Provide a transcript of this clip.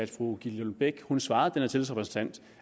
fru gitte lillelund bech svarede her tillidsrepræsentant